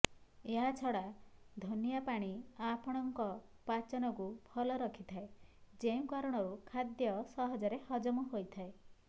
ଏହାଛଡା ଧନିଆ ପାଣି ଆପଣଙ୍କ ପାଚନକୁ ଭଲ ରଖିଥାଏ ଯେଉଁ କାରଣରୁ ଖାଦ୍ୟ ସହଜରେ ହଜମ ହୋଇଥାଏ